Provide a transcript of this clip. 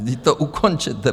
Vždyť to ukončete.